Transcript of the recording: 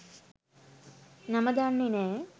නම දන්නෙ නෑ.